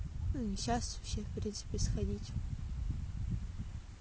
сейчас все в принципе сходить